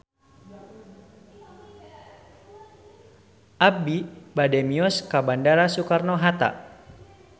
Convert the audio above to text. Abi bade mios ka Bandara Soekarno Hatta